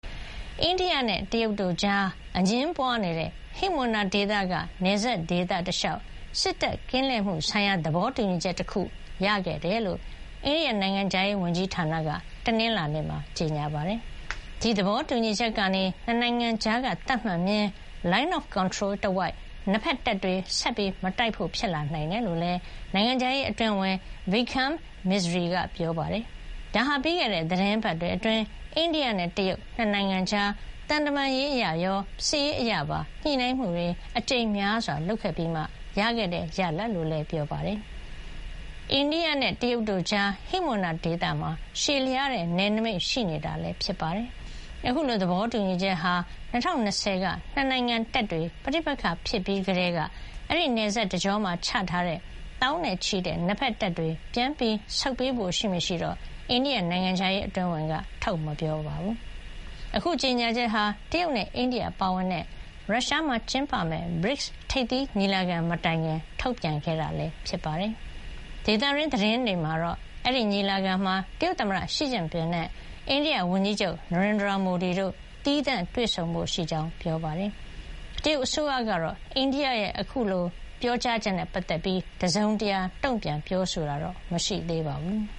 အိန္ဒိယနဲ့တရုတ်တို့ကြား အငြင်းပွါးနေတဲ့ ဟိမဝန္တာဒေသကနယ်စပ်ဒေတလျှောက် စစ်တပ်ကင်းလှည့်မှု ဆိုင်ရာသဘောတူညီချက်တခု ရရှိခဲ့တယ်လို့ အိန္ဒိယ နိုင်ငံခြားရေးဝန်ကြီး ဌာနက တနင်္လာနေ့မှာ ပြောပါတယ်။ ဒီသဘောတူညီချက်ကနေ ၂ နိုင်ငံကြားက သတ်မှတ်မျဉ်း LAC (Line of Actual Control) တဝိုက် နှစ်ဖက် တပ်တွေ ဆက်မတိုက်ဖို့ ဖြစ်လာနိုင်တယ်လို့လည်း နိုင်ငံခြားရေးအတွင်းဝန် Vikram Misri က ပြောပါတယ်။ ဒါဟာ ပြီးခဲ့တဲ့သီတင်းပတ်တွေအတွင်း အိန္ဒိယနဲ့တရုတ် နှစ်နိုင်ငံကြား သံတမန်ရေး အရရော စစ်ရေးအရပါ အကြိမ်များစွာညှိနှိုင်းခဲ့ပြီးရခဲ့တဲ့ရလဒ်ဖြစ်ကြောင်းလည်း ပြောပါတယ်။ အိန္ဒိယနဲ့တရုတ်တို့ကြား ဟိမဝန္တာဒေသမှာ ရှည်လျားတဲ့နယ်နိမိတ်ရှိနေတာ ဖြစ်ပါတယ်။ အခုလို သဘောတူညီချက်ဟာ ၂၀၂၀ က နှစ်နိုင်ငံတပ်တွေ ပဋိပက္ခဖြစ်ပြီးကတည်းက ဒီနယ်စပ်မှာချထားတဲ့သောင်းနဲ့ချီတဲ့ နှစ်ဘက်တပ်တွေ ပြန်ဆုတ်ပေးဖို့ ရှိမရှိတော့ အိန္ဒိယနိုင်ငံခြားရေးအတွင်းဝန်က ထုတ်မပြောပါဘူး။ အခု ကြေညာချက်ဟာ တရုတ်နဲ့အိန္ဒိယပါဝင်တဲ့ ရုရှားမှာကျင်းပမယ့် BRICS ထိပ်သီးညီလာခံ မတိုင်ခင် ထုတ်ပြန်ခဲ့တာဖြစ်ပါတယ်။ ဒေသတွင်းသတင်းတွေမှာတော့ ဒီညီလာခံမှာ တရုတ်သမ္မတ ရှီကျင့်ပင်နဲ့ အိန္ဒိယ ဝန်ကြီးချုပ် နရိန်ဒရာ မိုဒီတို့ သီးသန့်တွေ့ဆုံဖို့ ရှိကြောင်း ပြောပါတယ်။ တရုတ်အစိုးရကတော့ အိန္ဒိယရဲ့ ပြောကြားချက်နဲ့ပတ်သက်ပြီး တစုံတရာ တုံ့ပြန်ပြောဆိုတာ မရှိသေးပါဘူး။